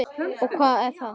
Og hvað er það?